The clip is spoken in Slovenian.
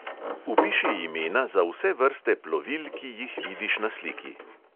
Vpiši imena za vse vrste plovil, ki jih vidiš na sliki.